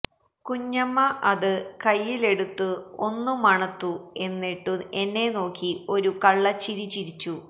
കുഞ്ഞമ്മ അത് കൈയിൽ എടുത്തു ഒന്ന് മണത്തു എന്നിട്ടു എന്നെ നോക്കി ഒരു കള്ള ചിരി ചിരിച്ചു